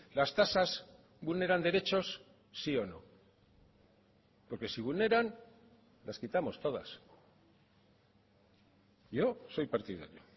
las tasas vulneran derechos sí o no porque si vulneran las quitamos todas yo soy partidario